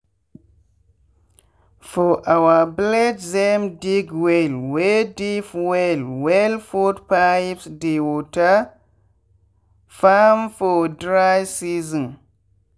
for our villagethem dig well wey deep well wellput pipes dey water farm for dry season.